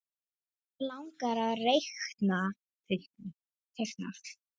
Hann langar að teikna.